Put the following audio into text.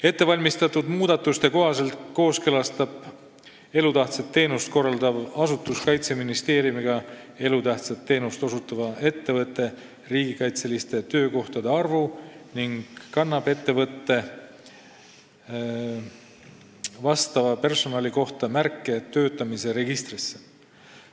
Ettevalmistatud muudatuste kohaselt kooskõlastab elutähtsat teenust korraldav asutus Kaitseministeeriumiga elutähtsat teenust osutava ettevõtte riigikaitseliste töökohtade arvu ning kannab ettevõtte vastava personali kohta märke töötamise registrisse.